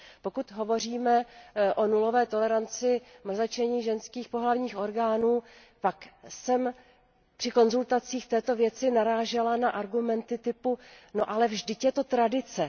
Pokud hovoříme o nulové toleranci mrzačení ženských pohlavních orgánů, tak jsem při konzultacích o této věci narážela na argumenty typu no, ale vždyť je to tradice.